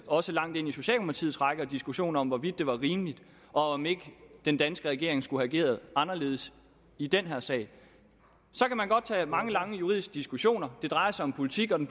også langt ind i socialdemokratiets rækker diskussion om hvorvidt det var rimeligt og om ikke den danske regering skulle have ageret anderledes i den her sag så kan man godt tage mange lange juridiske diskussioner det drejer sig om politik og den